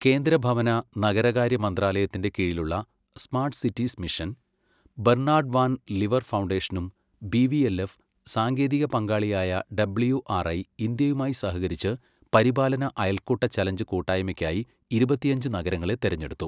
കേന്ദ്ര ഭവന, നഗരകാര്യ മന്ത്രാലയത്തിന്റെ കീഴിലുള്ള smart cities mission, Bernard van Leer ഫൗണ്ടേഷനും ബിവിഎൽഎഫ്, സാങ്കേതിക പങ്കാളിയായ ഡബ്ല്യുആർഐ ഇന്ത്യയുമായി സഹകരിച്ച് പരിപാലന അയൽക്കൂട്ട ചലഞ്ച് കൂട്ടായ്മയ്ക്കായി ഇരുപത്തിയഞ്ച് നഗരങ്ങളെ തിരഞ്ഞെടുത്തു.